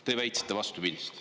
Te väitsite vastupidist.